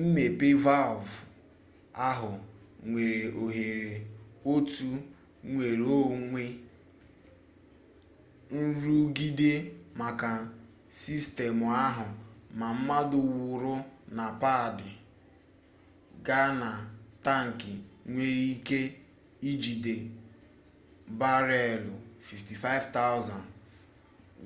mmepe valvụ ahụ nyere òhèrè otu nnwereonwe nrụgide maka sistemụ ahụ ma mmanụ wụrụ na paadị gaa na taankị nwere ike ijide bareelụ 55,000